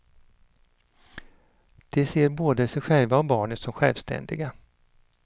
De ser både sig själva och barnet som självständiga.